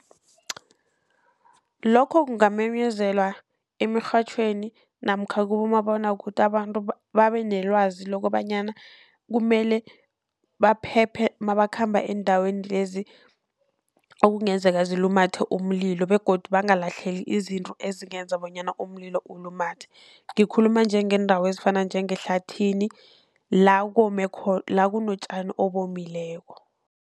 Lokho kungamenyezelwa emirhatjhweni namkha kibomabonwakude abantu babe nelwazi lokobanyana kumele baphephe nabakhamba eendaweni lezi, okungenzeka zilumathe umlilo, begodu bangalahleli izinto ezingenza bonyana umlilo ulumathe. Ngikhuluma njengeendawo ezifana njengehlathini la kome la kunotjani obomileko.